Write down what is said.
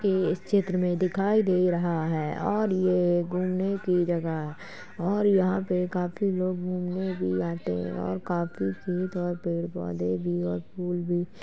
कि इस चित्र में दिखाई दे रहा है और ये घूमने की जगह और यहाँं पर काफी लोग घूमने भी आते और काफी फूल पेड़ पौधे भी है और फूल भी --